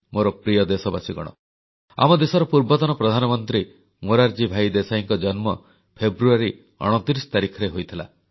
ମୋର ପ୍ରିୟ ଦେଶବାସୀଗଣ ଆମ ଦେଶର ପୂର୍ବତନ ପ୍ରଧାନମନ୍ତ୍ରୀ ମୋରାରଜୀ ଭାଇ ଦେଶାଇଙ୍କ ଜନ୍ମ ଫେବୃଆରୀ 29 ତାରିଖରେ ହୋଇଥିଲା